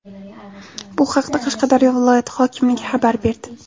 Bu haqda Qashqadaryo viloyati hokimligi xabar berdi .